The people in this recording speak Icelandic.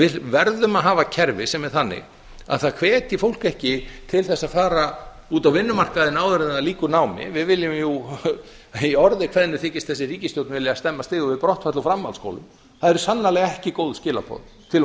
við verðum að hafa kerfi sem er þannig að það hvetji fólk ekki til þess að fara út á vinnumarkaðinn áður en það lýkur námi við viljum jú í orði kveðnu þykist þessi ríkisstjórn vilja stemma stigu við brottfall úr framhaldsskólum það eru sannarlega ekki góð skilaboð til